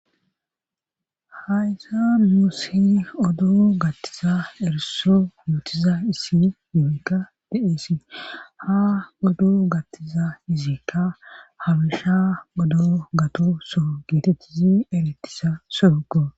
haysa nus oddo gattiza eriso yuutiza isi yunikka diesi ha oddo gattiza izikka habisha odo gato so geetettizi erettisa sooko